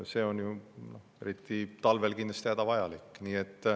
See on eriti talvel kindlasti hädavajalik.